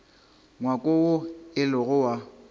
ngwako woo e lego wa